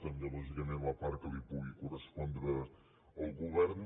també lògicament la part que pugui correspondre al govern